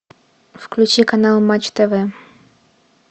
включи канал матч тв